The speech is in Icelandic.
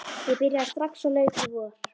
Ég byrjaði strax og skóla lauk í vor.